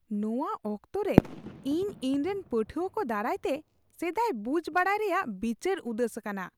ᱱᱚᱶᱟ ᱚᱠᱛᱚᱨᱮ, ᱤᱧ ᱤᱧᱨᱮᱱ ᱯᱟᱹᱴᱷᱩᱣᱟᱹ ᱠᱚ ᱫᱟᱨᱟᱭ ᱛᱮ ᱥᱮᱫᱟᱭ ᱵᱩᱡ ᱵᱟᱰᱟᱭ ᱨᱮᱭᱟᱜ ᱵᱤᱪᱟᱹᱨ ᱩᱫᱟᱹᱥ ᱟᱠᱟᱱᱟ ᱾